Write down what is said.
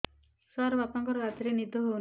ସାର ବାପାଙ୍କର ରାତିରେ ନିଦ ହଉନି